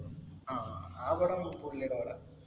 ആഹ് ആ പടം പുള്ളീടെ പടാ.